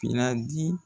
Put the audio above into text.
Finna di